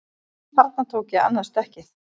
Þarna tók ég annað stökkið